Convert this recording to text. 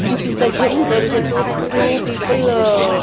This is the gym there is a two two people --